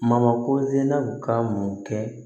Mamakosɛnna ka mun kɛ